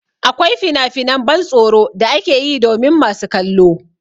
Akwai finafinan ban tsoro da ake yi domin masu kallo.